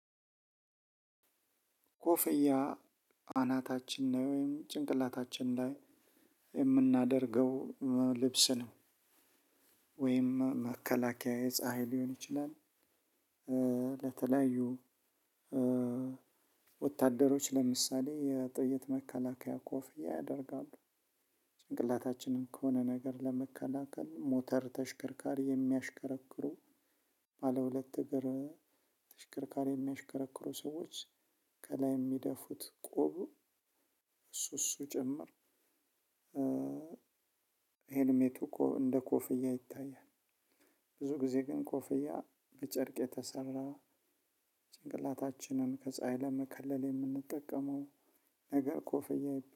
ኮፍያ አናታችን ነው ወይም ጭንቅላታችን ላይ የምናደርገው ልብስ ነው ወይም መከላከያ የፀሀይ ሊሆን ይችላል። ለተለያዩ ወታደሮች ለምሳሌ የ ጥይት መከላከያ ኮፍያ ያደርጋሉ። ጭንቅላታችንን ከሆነ ነገር ለመከላከል ሞተር ተሽከርካሪ የሚያሽከረክሩ ባለ ሁለት እግር ተሽከርካሪ የሚያሽከረክሩ ሰዎች ከላይ የሚደፉት ቆቡ። እሱ እሱ ጭምር ሄልሜቱ ኮ እንደ ኮፍያ ይታያል። ብዙ ጊዜ ግን ኮፍያ በ ጨርቅ የተሰራ ጭንቅላታችንን ከፀሀይ ለመከለል የምንጠቀመው ነገር ኮፍያ